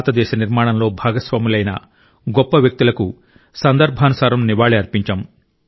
భారతదేశ నిర్మాణంలో భాగస్వాములైన గొప్ప వ్యక్తులకు సందర్భానుసారం నివాళి అర్పించాం